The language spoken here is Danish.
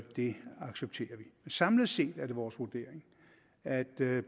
det accepterer vi samlet set er det vores vurdering at det